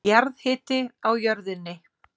Jarðhiti á jörðinni